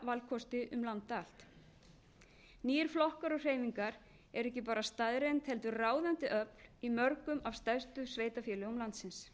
valkosti um land allt nýir flokkar og hreyfingar eru ekki bara staðreynd heldur ráðandi öfl í mörgum af stærstu sveitarfélögum landsins